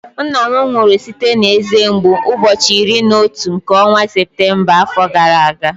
Nna m nwụrụ site na eze mgbu ụbọchị iri na otu nke ọnwa Septemba afọ gara aga